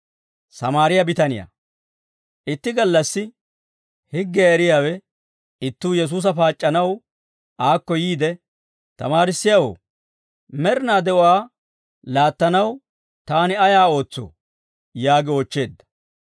Itti gallassi higgiyaa eriyaawe ittuu Yesuusa paac'c'anaw aakko yiide, «Tamaarissiyaawoo, med'inaa de'uwaa laattanaw, taani ayaa ootsoo?» yaagi oochcheedda.